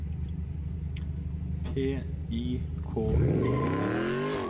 P I K E R